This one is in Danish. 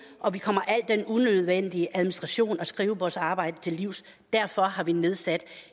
og at vi kommer al unødvendig administration og skrivebordsarbejde til livs derfor har vi nedsat